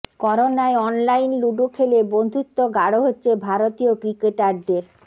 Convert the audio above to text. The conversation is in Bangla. করোনায় অনলাইন লুডু খেলে বন্ধুত্ব গাঢ় হচ্ছে ভারতীয় ক্রিকেটারদের